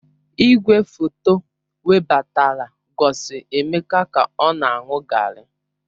Igwefoto webatara gosi Emeka ka ọ aṅụ garri.